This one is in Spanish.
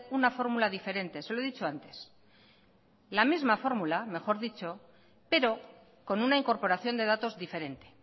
una fórmula diferente se lo he dicho antes la misma fórmula mejor dicho pero con una incorporación de datos diferente